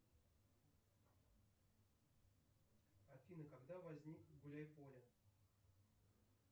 афина когда возник гуляй поле